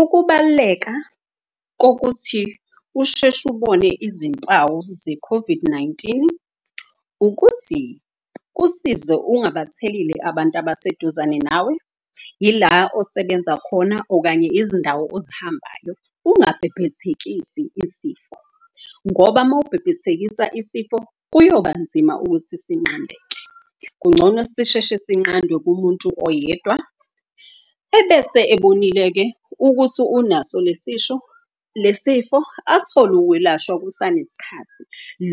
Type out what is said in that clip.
Ukubaluleka kokuthi usheshe ubone izimpawu ze-COVID-19. Ukuthi kusize ungabatheli abantu abaseduzane nawe, ila osebenza khona okanye izindawo ozihambayo. Ungabhebhethekisi isifo ngoba mawubhebhethekisa isifo kuyoba nzima ukuthi sinqandeke. Kungcono sisheshe sinqadwe kumuntu oyedwa ebese ebonile-ke ukuthi unaso le sifo athole ukwelashwa kusane sikhathi.